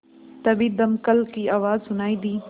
तभी दमकल की आवाज़ सुनाई दी